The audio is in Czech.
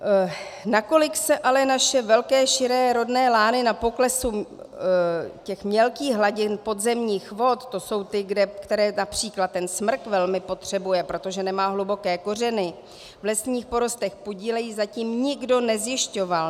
Nakolik se ale naše velké širé rodné lány na poklesu těch mělkých hladin podzemních vod - to jsou ty, které například ten smrk velmi potřebuje, protože nemá hluboké kořeny - v lesních porostech podílejí, zatím nikdo nezjišťoval.